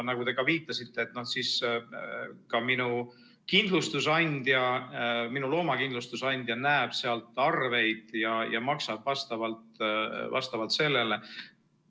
Nagu te viitasite, näeb siis ka minu kindlustusandja, minu looma kindlustusandja, sealt arveid ja maksab vastavalt sellele.